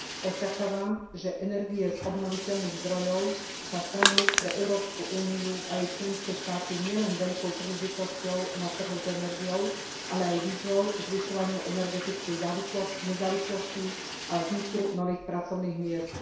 Očakávam, že energie z obnoviteľných zdrojov sa stanú pre Európsku úniu a jej členské štáty nielen veľkou príležitosťou na trhu s energiou, ale aj výzvou k zvyšovaniu energetickej nezávislosti a vzniku nových pracovných miest.